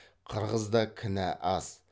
қырғызда кінә аз